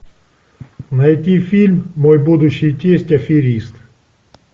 найти фильм мой будущий тесть аферист